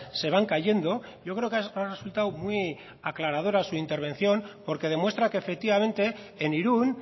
se van cayendo yo creo que ha resultado muy aclaradora su intervención porque demuestra que efectivamente en irún